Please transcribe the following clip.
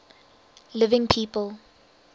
living people